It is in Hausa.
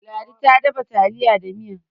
ladi ta dafa taliya da Miya